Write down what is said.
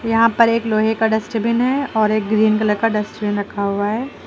यहां पर एक लोहे का डस्टबिन है और एक ग्रीन कलर का डस्टबिन रखा हुआ है।